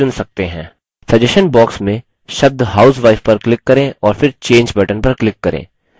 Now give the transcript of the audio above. suggestion box में शब्द housewife पर click करें और फिर change button पर click करें